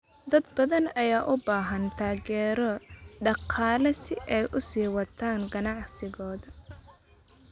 Dad badan ayaa u baahan taageero dhaqaale si ay u sii wataan ganacsigooda.